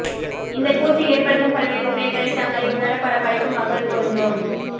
இந்தக் கூற்று ஏற்படுத்தும் பல்வேறு துறைகளில் தங்களை உணர பல படைப்பு மக்கள் பொருந்தும்